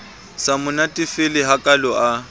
sa mo natefele hakalo a